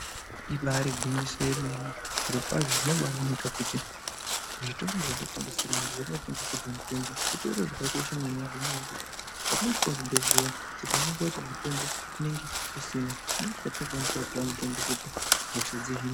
Ibaari gwinyiso yemene, zvirokwazvo zvinobaaoneka kuti zvitoro zvetinotengeserwe mitombo, zvitoro zvakakosha maningi ngenyaya yekuti petinosvika kuchibhedhlera tikaonekwa kuti mitombo kunenge kusina ndipo petinokwanisa kutopiwa mitombo kuti hosha dzihinwe.